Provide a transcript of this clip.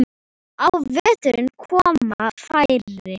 Á veturna koma færri.